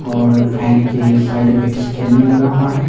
और फैन के साइड में स्कैनर लगा हुआ है।